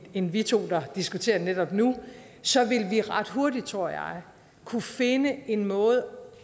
end vi to der diskuterer det netop nu så vil vi ret hurtigt tror jeg kunne finde en måde